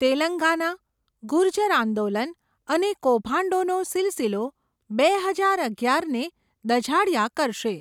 તેલંગાના, ગુર્જર આંદોલન અને કૌભાંડોનો સીલસીલો બે હજાર અગિયાર ને દઝાડયા કરશે.